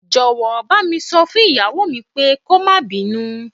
Jọ̀wọ́, bá mi sọ fún ìyàwó mi pé kó máa bínú.